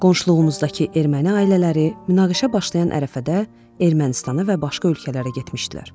Qonşuluğumuzdakı erməni ailələri münaqişə başlayan ərəfədə Ermənistana və başqa ölkələrə getmişdilər.